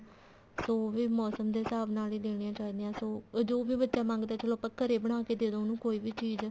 ਸੋ ਉਹ ਵੀ ਮੋਸਮ ਦੇ ਹਿਸਾਬ ਨਾਲ ਹੀ ਦੇਣੀਆਂ ਚਾਹੀਦੀਆਂ ਉਹ ਜੋ ਬੱਚਾ ਮੰਗਦਾ ਘਰੇ ਬਣਾ ਕੇ ਦੇਦੋ ਉਹਨੂੰ ਕੋਈ ਵੀ ਚੀਜ਼